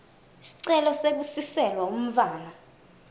sicelo sekusiselwa umntfwana